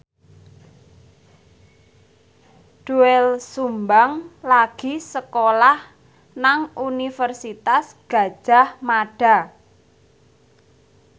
Doel Sumbang lagi sekolah nang Universitas Gadjah Mada